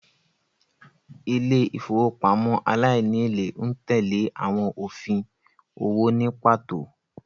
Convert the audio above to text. Ilé ìfowópamọ́ aláìníèlé ń tẹ́lẹ̀ àwọn òfin owó ní pàtó